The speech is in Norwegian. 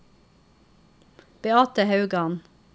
Beate Haugan